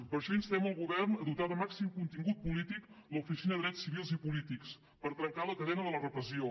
per això instem el govern a dotar de màxim contingut polític l’oficina de drets civils i polítics per trencar la cadena de la repressió